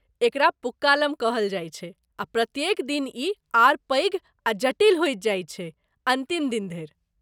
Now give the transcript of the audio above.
एकरा पूक्कालम कहल जायत छै आ प्रत्येक दिन ई आओर पैघ आ जटिल होईत जाइत छै अंतिम दिन धैर ।